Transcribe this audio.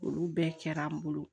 Olu bɛɛ kɛra an bolo